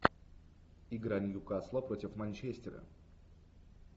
игра ньюкасла против манчестера